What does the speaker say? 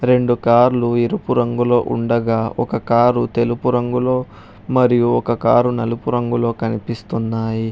రెండు కార్లు ఎరుపు రంగులో ఉండగా ఒక కారు తెలుపు రంగులో మరియు ఒక కారు నలుపు రంగులో కనిపిస్తున్నాయి.